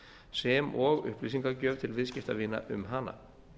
sem og upplýsingagjöf til viðskiptavina um hana